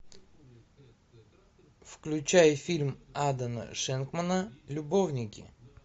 включай фильм адама шенкмана любовники